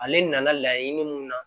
Ale nana laɲini mun na